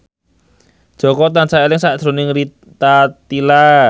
Jaka tansah eling sakjroning Rita Tila